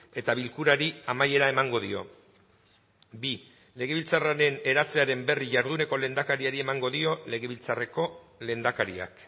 eta bilkurari amaiera emango dio bi legebiltzarraren eratzearen berri jarduneko lehendakariari emango dio legebiltzarreko lehendakariak